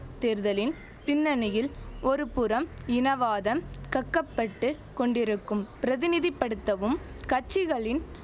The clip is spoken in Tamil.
தேர்தலின் பின்னணியில் ஒரு புறம் இனவாதம் கக்கப்பட்டு கொண்டிருக்கும் பிரதிநிதி படுத்தவும் கட்சிகளின்